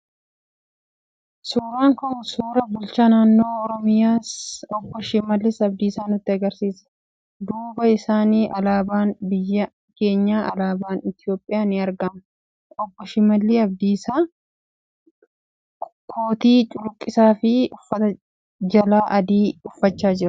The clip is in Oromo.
Suuraan kun suuraa bulchaa Naannoo Oromiyaa Obbo Shimallis Abdiisaa nutti argisiisa. Duuba isaanii alaabaan biyya keenyaa alaabaan Itoophiyaa ni argama. Obbo Shimalli Abdiisaa kootii cuquliisa fi uffata jalaa adii uffachaa jiru.